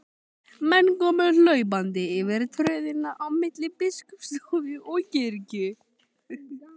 Menn komu hlaupandi yfir tröðina á milli biskupsstofu og kirkju.